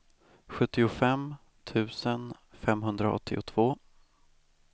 sjuttiofem tusen femhundraåttiotvå